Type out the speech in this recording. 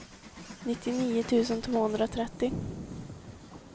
nittionio tusen tvåhundratrettio